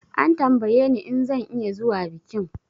An tambaye ni in zan iya zuwa bikin